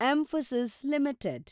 Mphasis limited